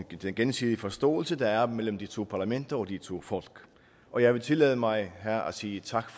den gensidige forståelse der er mellem de to parlamenter og de to folk og jeg vil tillade mig her at sige tak